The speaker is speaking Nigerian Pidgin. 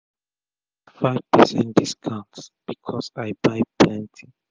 i get 5 percent discount becos i buy plenti